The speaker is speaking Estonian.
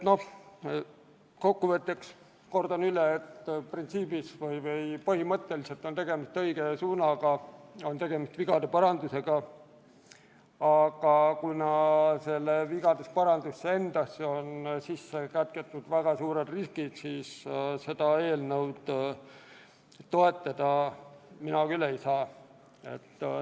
Kokku võttes kordan üle, et põhimõtteliselt on tegemist õige suunaga, on tegemist vigade parandusega, aga kuna sellesse vigade parandusse endasse on kätketud väga suured riskid, siis seda eelnõu toetada mina küll ei saa.